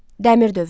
Dəmir dövrü.